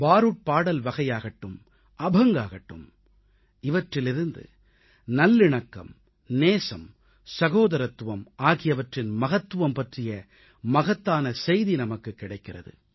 பாருட் பாடல் வகையாகட்டும் அபங்காகட்டும் நல்லிணக்கம் நேசம் சகோதரத்துவம் ஆகியவற்றின் மகத்துவம் பற்றிய மகத்தான செய்தி நமக்குக் கிடைக்கிறது